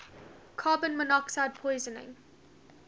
carbon monoxide poisoning